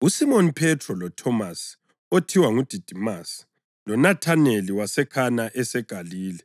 USimoni Phethro, loThomasi (othiwa nguDidimasi) loNathaneli waseKhana eseGalile,